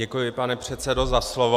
Děkuji, pane předsedo, za slovo.